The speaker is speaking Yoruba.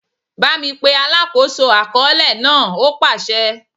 Bámi pe alákòóso àkọọ́lẹ̀ náà! ó pàsẹ.